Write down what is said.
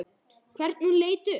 Hvernig hún leit upp.